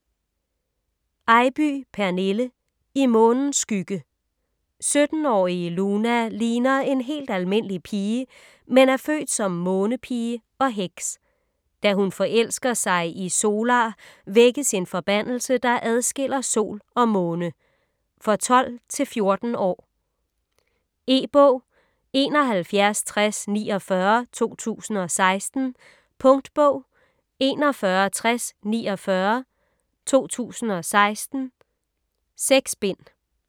Eybye, Pernille: I månens skygge 17-årige Luna ligner en helt almindelig pige, men er født som månepige og heks. Da hun forelsker sig i Solar vækkes en forbandelse, der adskiller sol og måne. For 12-14 år. E-bog 716049 2016. Punktbog 416049 2016. 6 bind.